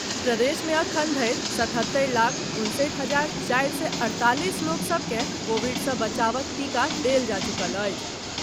प्रदेश मे एखन धरि सतहत्तरि लाख उनसठि हजार चारि सय अड़तालीस लोक सभ के कोविड सँ बचावक टीका देल जा चुकल अछि।